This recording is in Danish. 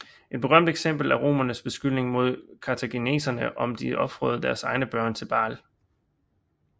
Et berømt eksempel er romernes beskyldning mod kartaginienserne om at de ofrede deres egne børn til Baal